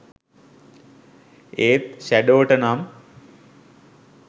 ඒත් ෂැඩෝට නම්